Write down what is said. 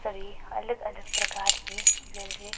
सभी अलग अलग प्रकार की ज्वेलरी --